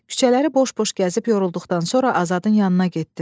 Küçələri boş-boş gəzib yorulduqdan sonra Azadın yanına getdim.